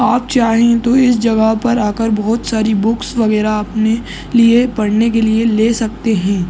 आप चाहे तो इस जगह पर आकर बहुत सारी बुक्स वगेरह अपने लिए पढ़ने के लिए ले सकते है।